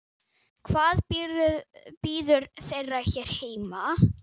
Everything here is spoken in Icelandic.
Hvað bíður þeirra hér heima?